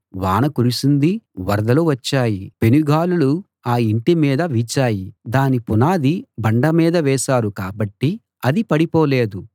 వాన కురిసింది వరదలు వచ్చాయి పెనుగాలులు ఆ ఇంటి మీద వీచాయి దాని పునాది బండ మీద వేశారు కాబట్టి అది పడిపోలేదు